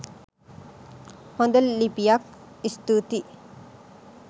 හොද ලිපියක් ස්තුති.